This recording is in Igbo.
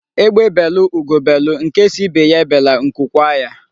Egbe belụ Ugo belụ, nke sị ibe ya ebela, nku kwaa ya.